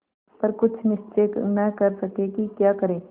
पर कुछ निश्चय न कर सके कि क्या करें